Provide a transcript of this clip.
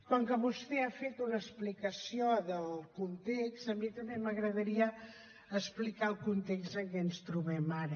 com que vostè ha fet una explicació del context a mi també m’agradaria explicar el context en què ens trobem ara